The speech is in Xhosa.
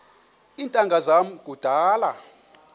iintanga zam kudala